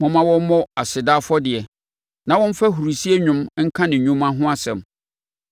Momma wɔmmɔ aseda afɔdeɛ na wɔmfa ahurisie nnwom nka ne nnwuma ho asɛm.